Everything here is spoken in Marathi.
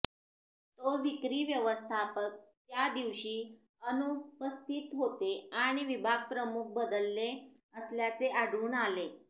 तो विक्री व्यवस्थापक त्या दिवशी अनुपस्थित होते आणि विभाग प्रमुख बदलले असल्याचे आढळून आले